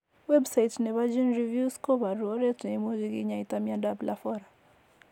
Website nepo GeneReview's koporu oret ne imuche kinyaita miondap Lafora.